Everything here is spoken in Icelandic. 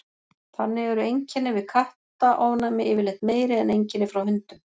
þannig eru einkenni við kattaofnæmi yfirleitt meiri en einkenni frá hundum